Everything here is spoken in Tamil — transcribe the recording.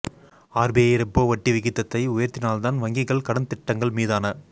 ஆர்பிஐ ரெப்போ வட்டி விகிதத்தை உயர்த்தினால் தான் வங்கிகள் கடன் திட்டங்கள் மீதான